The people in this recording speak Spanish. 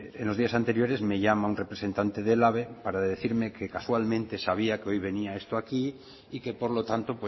en los días anteriores me llama un representante del elhabe para decirme que casualmente sabía que hoy venía esto aquí y que por lo tanto